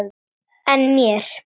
En mér?